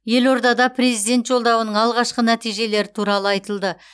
елордада президент жолдауының алғашқы нәтижелері туралы айтылды